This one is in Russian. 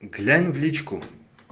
глянь в личку